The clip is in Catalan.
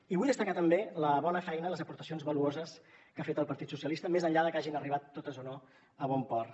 i vull destacar també la bona feina les aportacions valuoses que ha fet el partit socialistes més enllà de que hagin arribat totes o no a bon port